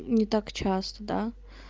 не так часто да